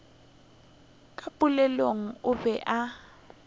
ka pelong o be a